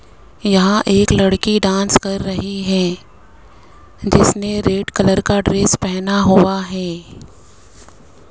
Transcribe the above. यहां एक लड़की डांस कर रही है जिसने रेड कलर का ड्रेस पहना हुआ है।